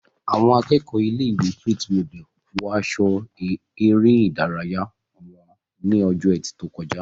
Àwọn akẹ́kọ̀ọ́ ilé-ìwé Faith Model wọ aṣọ eré ìdárayá wọn ní ọjọ́ ẹtì tó kọjá